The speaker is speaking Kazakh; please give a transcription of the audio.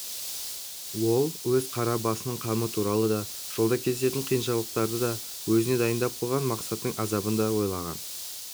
ол өз қара басының қамы туралы да жолда кездесетін қиыншылықтарды да өзіне дайындап қойған мақсаттың азабын да ойлаған